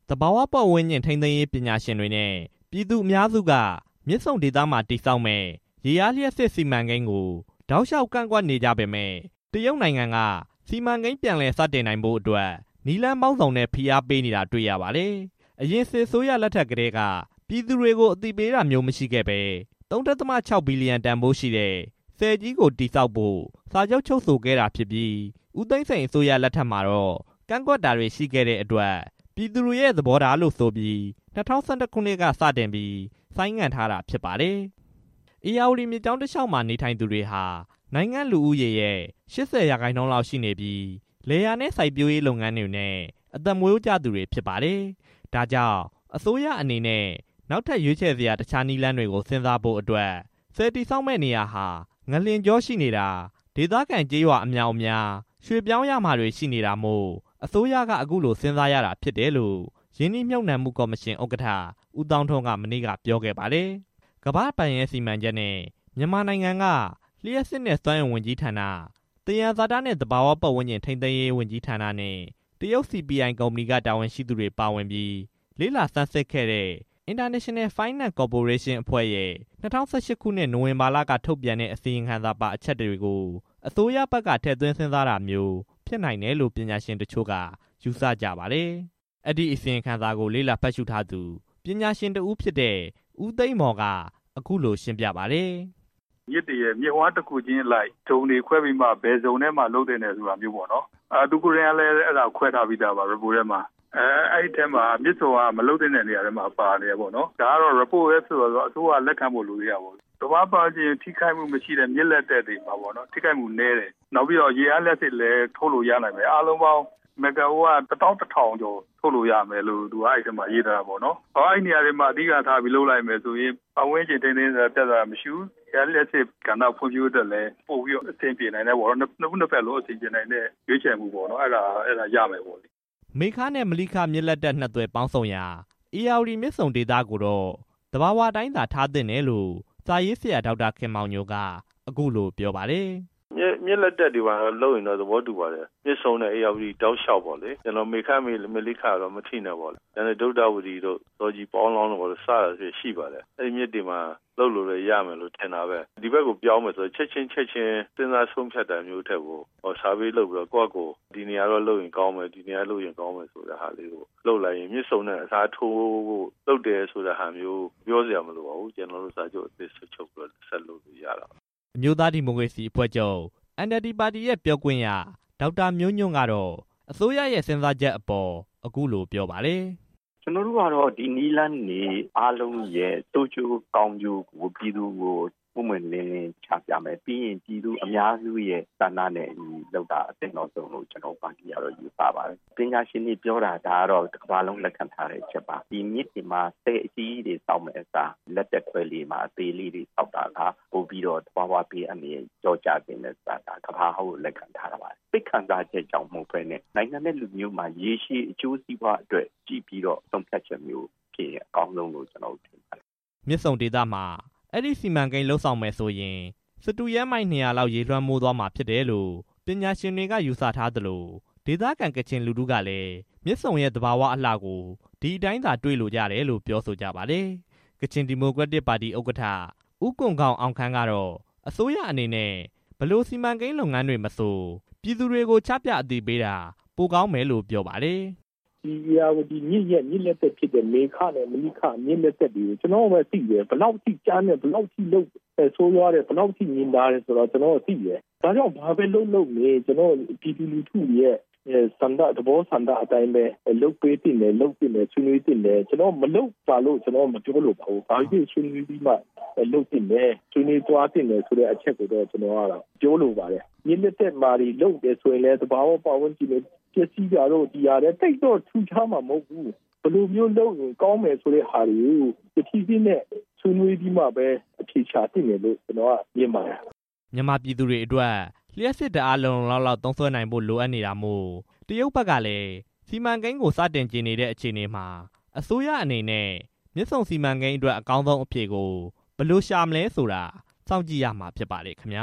သဘာဝပတ်ဝန်းကျင် ထိန်းသိမ်းရေးပညာရှင်တွေနဲ့ ပြည်သူအများစုတို့က မြစ်ဆုံဒေသမှာ ရေအား လျှပ်စစ်စီမံကိန်းကို တောက်လျှောက်ကန့်ကွက်နေကြသလို တရုတ်နိုင်ငံကလည်း စီမံကိန်းပြည်လည် စတင်နိုင်ဖို့အတွက် နည်းလမ်းပေါင်းစုံနဲ့ ဖိအားတွေပေးနေတာ တွေ့ရပါတယ်။ အရင်စစ်အစိုးရလက်ထက်ကတည်းက ပြည်သူတွေကို အသိပေးတာမျိုးမရှိခဲ့ပဲ ၃.၆ ဘီလီယံတန်ဖိုးရှိတဲ့ ဆည်ကြီးကို တည်ဆောက်ဖို့ စာချုပ်ချုပ်ဆိုခဲ့တာဖြစ်ပြီး ဦးသိန်းစိန်အစိုးရလက်ထက်မှာတော့ ကန့်ကွက်တာတွေ ရှိခဲ့တဲအတွက် ပြည်သူတွေရဲ့ သဘောထားလို့ဆိုပြီး ၂၀၁၁ ခုနှစ်ကတည်းက ဆိုင်းငံ့ခဲ့တာဖြစ်ပါတယ်။ ဧရာဝတီမြစ်ကြောင်းတလျှောက်မှာ နေထိုင်ကြသူတွေဟာ နိုင်ငံ့လူဦးရေရဲ့ ၈၀ % ရှိနေပြီး လယ်ယာစိုက်ပျိုးရေးနဲ့ အသက်မွေးကြသူတွေဖြစ်ပါတယ်။ ဒါကြောင့် အစိုးရအနေနဲ့ နောက်ထပ်ရွေးချယ်စရာ တခြားနည်းလမ်းတွေကို စဉ်းစားဖို့အတွက် ဆည်တည်ဆောက် မယ့်နေရာဟာ ငလျင်ကြောရှိနေတာ၊ ဒေသခံကျေးရွာအမြောက်အမြား ရွှေ့ပြောင်းရမှာတွေရှိနေတာမို့ အစိုးရက အခုလိုစဉ်းစားနေရတာဖြစ်တယ်လို့ ရင်းနှီးမြှပ်နံှမှုကော်မရှင်ဥက္ကဋ္ဌ ဦးသောင်းထွန်း က မနေ့က ပြောခဲ့ပါတယ်။ ကမ္ဘာ့ဘဏ်ရဲ့စီမံချက်နဲ့ မြန်မာနိုင်ငံက လျှပ်စစ်နဲ့စွမ်းအင်ဝန်ကြီးဌာန၊ သယံဇာတနဲ့ သဘာဝပတ်ဝန်းကျင် ထိန်းသိမ်းရေးဝန်ကြီးဌာနနဲ့ တရုတ် CPI ကုမ္ပဏီတို့က တာဝန်ရှိသူတွေပါဝင်ပြီး လေ့လာစမ်းစစ်ခဲ့တဲ့ International Finance Committee အဖွဲ့ရဲ့ ၂၀၀၈ ခုနှစ် နိုဝင်ဘာလက ထုတ်ပြန်တဲ့ အစီရင်ခံစာထဲမှာပါတဲ့အချက်တွေကို အစိုးရဘက်က ထည့်သွင်းစဉ်းစားလာတာမျိုး ဖြစ်နိုင်တယ်လို့ ပညာရှင်တချို့က ယူဆကြပါတယ်။ အဲဒီအစီရင်ခံစာကို လေ့လာဖတ်ရှုထားသူ ပညာရှင်တစ်ဦးဖြစ်တဲ့ ဦးသိမ်းမော် က အခုလိုရှင်းပြပါတယ်။ ‘’မြစ်တွေရဲ့ မြစ်ဝှမ်းတစ်ခုချင်းအလိုက် ဇုန်တွေခွဲပြီးတော့ ဘယ်ဇုန်ထဲမှာ လုပ်သင့်တယ်ဆိုတာမျိုးပေါ့နော်၊ သူကိုယ်တိုင်ကလည်း ခွဲထားပြီးသားပါ report ထဲမှာ၊ အဲထဲမှာမြစ်ဆုံက မလုပ်သင့်တဲ့အထဲမှာပါနေ တယ်ပေါ့နော်၊ ဒါကတော့ report ထဲမှာဆိုတော့ အစိုးရကလက်ခံဖို့လည်း လိုသေးတာပေါ့နော်၊ သဘာဝ ပတ်ဝန်းကျင်ထိခိုက်မှုမရှိတဲ့ မြစ်လက်တက်တွေမှာပေါ့နော်၊ ထိခိုက်မှုနည်းတယ် ရေအားလျှပ်စစ်လည်း ထုတ်လို့ရနိုင်မယ်၊ အားလုံးပေါင်း မဂ္ဂါဝပ် ၁၁၀၀၀ ကျော် ထုတ်လို့ရနိုင်မယ်လို့ အဲထဲမှာရေးထားတယ်၊ အဲဒီနေရာတွေမှာ အဓိကထားပြီး လုပ်လိုက်မယ်ဆိုရင် ပတ်ဝန်းကျင်ထိန်းသိမ်းရေး ပြဿနာလည်းမရှိဘူး၊ ရေအားလျှပ်စစ်ဖွံ့ဖြိုးရေးအတွက်လည်း ပိုပြီးတော့ အဆင်ပြေနိုင်တယ်ပေါ့ နှစ်ဦးနှစ်ဖက်လုံး အဆင်ပြေနိုင်မယ့် ရွေးချယ်မှုရမယ်ပေါ့နော်’’ မေခနဲ့မလိခမြစ်လက်တက် နှစ်သွယ်ပေါင်းဆုံရာ ဧရာဝတီမြစ်ဆုံဒေသကိုတော့ သဘာဝအတိုင်းသာ ထားသင့်တယ်လို့ စာရေးဆရာ ဒေါက်တာခင်မောင်ညို က အခုလိုပြောပါတယ်။ ‘’မြစ်လက်တက်တွေမှာလုပ်ရင်တော့ သဘောတူပါတယ်၊ မြစ်ဆုံဧရာဝတီတောက်လျှောက်ပေါ့လေ မေခ မလိခ အထိနဲ့ပေါ့လေ ကျန်တဲ့ဒုဌဝတီတို့ ဇော်ဂျီ၊ ပေါင်းလောင်းတို့ ရှိပါတယ်၊ အဲဒီမြစ်တွေမှာ လုပ်လို့ရမယ်လို့လည်း ထင်ပါတယ်၊ ဒီဘက်ကိုပြောင်းမယ်ဆိုရင် ချက်ခြင်းချက်ခြင်း စဉ်းစားဆုံးဖြတ်တာမျိုးထက်ကို ဆာဗေးလုပ်ပြီး ကိုယ့်ဟာကို ဒီနေတော့လုပ်ရင် ကောင်းမယ်ဆိုတာလုပ်လိုက်ရင် မြစ်ဆုံနဲ့ အစားထိုးလုပ်တယ်ဆိုတာမျိုး ပြောစရာမလိုပါဘူး စာချုပ်အသစ်ထပ်ချုပ်လို့ရတာပဲ’’ အမျိုးသားဒီမိုကရေစီအဖွဲ့ချုပ် NLD ပါတီရဲ့ ပြောခွင့်ရ ဒေါက်တာမျိုးညွန့်ကတော့ အစိုးရရဲ့စဉ်းစားချက်အပေါ် အခုလိုပြောပါတယ်။ ‘’ကျွန်တော်တို့ကတော့ ဒီနည်းလမ်းတွေအားလုံးရဲ့ ဆိုးကျိုးကောင်းကျိုးကို ပြည်သူကို ပွင့်ပွင့်လင်းလင်းချပြမယ် ပြီးရင် ပြည်သူအများစုရဲ့ဆန္ဒနဲ့အညီ လုပ်တာအသင့်တော်ဆုံးလို့ ကျွန်တော်တို့ပါတီက ယူဆပါတယ်၊ ပညာရှင်တွေပြောတာ တစ်ကမ္ဘာလုံးလက်ခံထားတဲ့အချက်ပါ၊ ဒီမြစ်ပြင်မှာ ဆည်အကြီးတွေဆောက်မယ့်အစား လက်တက်ခွဲတွေမှာ အသေးလေးတွေဆောက်တာ သဘာဝဘေးအန္တရာယ် လျော့ကျစေတာ ကမ္ဘာကလက်ခံ ထားတာပါ၊ စိတ်ခံစားချက်ကြောင့် မဟုတ်ဘဲနဲ့ နိုင်ငံနဲ့လူမျိုးရေရှည် အကျိုးစီးပွားအတွက်ကြည့်ပြီးတော့ ဆုံးဖြတ်ချက်မျိုးဖြစ်ရင် အကောင်းဆုံးလို့ထင်ပါတယ်’’ မြစ်ဆုံဒေသမှာ အဲဒီစီမံကိန်းလုပ်ဆောင်မယ်ဆိုရင် စတုရန်းမိုင် ၂၀၀ လောက်က ရေတွေလွှမ်းသွားမှာ ဖြစ်တယ်လို့ ပညာရှင်တွေကယူဆကြသလို ဒေသခံကချင်လူထုကလည်း မြစ်ဆုံအလှသဘာဝကို ဒီအတိုင်းသာတွေ့ လိုကြတယ်လို့ ဆိုကြပါတယ်။ ကချင်ဒီမိုကရက်တစ်ပါတီ ဥက္ကဋ္ဌ ဦးကွမ်ဂေါင်အောင်ခမ်းကတော့ အစိုးရအနေနဲ့ ဘယ်စီမံကိန်း လုပ်ငန်းတွေမဆို ပြည်သူကို ချပြအသိပေးတာ ပိုကောင်းမယ်လို့ ပြောပါတယ်။ ‘’ဒီဧရာဝတီမြစ်ရဲ့ မြစ်လက်တက် မေခနဲ့မလိခ ဘယ်လောက်ထိကြမ်းတယ် ဘယ်လောက်ထိဆိုးရွားတယ် ဘယ်လောက်ထိ ညင်သာတယ်ဆိုတာ ကျွန်တော်တို့ပဲသိတယ်၊ ဒါကြောင့် ဘာပဲလုပ်လုပ် ပြည်သူလူထု သဘောဆန္ဒအတိုင်းပဲ လုပ်ပေးသင့်တယ်၊ ကျွန်တော်တို့မလုပ်ပါနဲ့လို့ မပြောလိုပါဘူး၊ ဘာပဲဖြစ်ဖြစ်ဆွေးနွေးပြီးမှ လုပ်သင့်တယ်လို့ပြောလိုပါတယ်၊ မြစ်လက်တက်တွေမှာ လုပ်တယ်ဆိုရင်လည်း သဘာဝပတ်ဝန်းကျင် ပျက်စီးတာတို့ သိပ်တော့ထူးခြားမှာမဟုတ်ဘူး၊ ဘယ်လိုမျိုးလုပ်ရင်ကောင်းမယ်ဆိုတာကို တစ်ဖြည်းဖြည်းနဲ့ ဆွေးနွေးအဖြေရှာတာကောင်းမယ် ’’ မြန်မာပြည်သူတွေအတွက် လျှပ်စစ်ဓာတ်အား လုံလုံလောက်လောက် သုံးစွဲဖို့ လိုအပ်နေတာမို့ တရုတ်ဘက် ကလည်း စီမံကိန်းကို စတင်ချင်နေတဲ့အခြေအနေမှာ အစိုးရအနေနဲ့ မြစ်ဆုံစီမံကိန်းအတွက် အကောင်းဆုံးအဖြေကို ဘယ်လိုရှာမလဲဆိုတာ စောင့်ကြည့်ရမှာဖြစ်ပါတယ်ခင်ဗျ